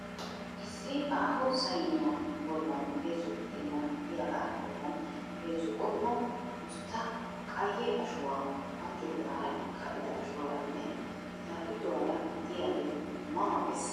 Issi aaho sayiniya bollaani heezzu budeena gidiyagaa bollan heezzu qommo usttaa qayye ashuwa anccoogaara ka"ida ashuwaaranne pitaa pituwaara diyagee ma ma ges.